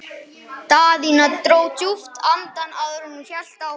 Daðína dró djúpt andann áður en hún hélt áfram.